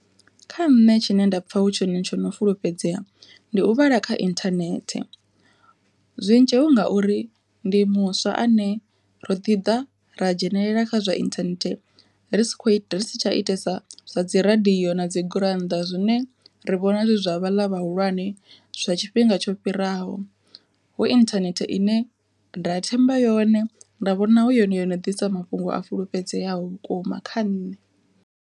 Kha nṋe tshine nda pfha hu tshone tsho no fulufhedzea ndi u vhala kha inthanethe, zwi ngauri ndi muswa ane ro ḓi da ra dzhenelela kha zwa inthanethe ri sa kho ita ri si tsha itesa zwa dzi radiyo na dzi gurannḓa zwine ri vhona zwi zwa vhaḽa vhahulwane zwa tshifhinga tsho fhiraho. Hu inthanethe ine nda themba yone nda vhona hu yone yone ḓisa mafhungo a fulufhedzeaho vhukuma kha nṋe.